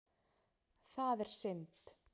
Það er synd.